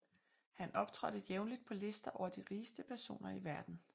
Han optrådte jævnligt på lister over de rigeste personer i verden